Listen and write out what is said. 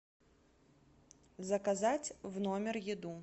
заказать в номер еду